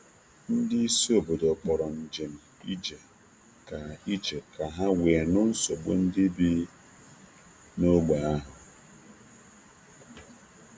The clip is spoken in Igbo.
Ndị isi obodo haziri njem nlegharị anya iji nụ mkpesa site n'onu ndị site n'onu ndị bi na ya wu obodo ozugbo.